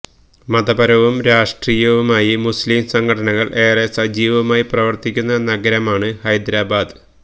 മതപരവും രാഷ്ട്രീയവുമായി മുസ്ലിം സംഘടനകള് ഏറെ സജീവമായി പ്രവര്ത്തിക്കുന്ന നഗരമാണ് ഹൈദരാബാദ്